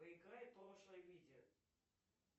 проиграй прошлое видео